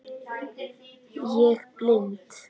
Ég blind